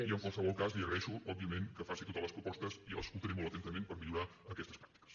i en qualsevol cas li agraeixo òbviament que faci totes les propostes jo les escoltaré molt atentament per millorar aquestes pràctiques